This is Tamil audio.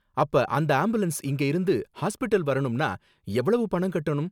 அப்ப அந்த ஆம்புலன்ஸ்ல இங்க இருந்து ஹாஸ்பிடல் வரணும்னா எவ்வளவு பணம் கட்டணும்?